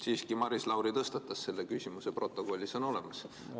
Siiski, Maris Lauri tõstatas selle küsimuse, protokollis on see olemas.